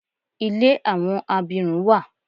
Ilé àwọn abirùn wa.